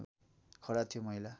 खडा थियो महिला